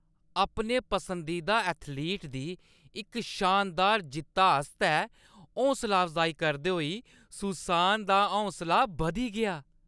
अपने पसंदीदा एथलीट दी इक शानदार जित्ता आस्तै हौसला अफजाई करदे होई सुसान दा हौंसला बधी गेआ ।